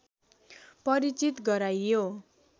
परिचित गराइयो